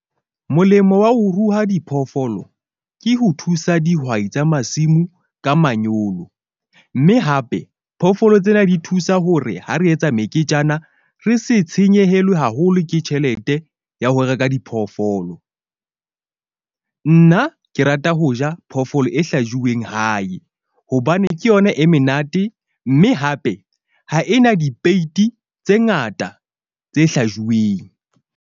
Molemo wa ho ruha diphoofolo ke ho thusa dihwai tsa masimo ka manyolo. Mme hape phoofolo tsena di thusa ho re ha re etsa meketjana, re se tshenyehelwe haholo ke tjhelete ya ho reka diphoofolo. Nna ke rata ho ja phoofolo e hlajuweng hae, hobane ke yona e menate mme hape ha ena dipeyiti tse ngata tse hlajuweng.